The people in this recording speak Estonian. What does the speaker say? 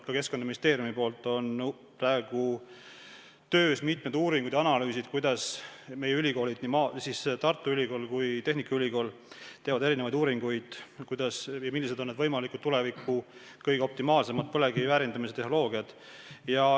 Ka Keskkonnaministeeriumis on praegu töös mitmed uuringud ja analüüsid, kuidas meie ülikoolid – nii Tartu Ülikool kui ka tehnikaülikool – teevad erinevaid uuringuid ja millised on need tulevikus võimalikud optimaalsed põlevkivi väärindamise tehnoloogiad.